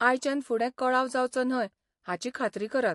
आयच्यान फुडें कळाव जावचो न्हय हाची खात्री करात.